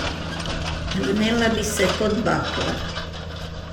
Vnela bi se kot bakla.